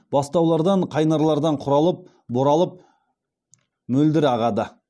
бастаулардан қайнарлардан құралып боралып мөлдір ағады